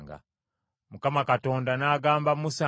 Mukama Katonda n’agamba Musa nti,